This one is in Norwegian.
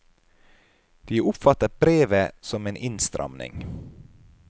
De oppfatter brevet som en innstramning.